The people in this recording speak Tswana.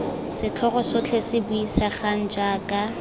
setlhogo sotlhe se buisegang jaana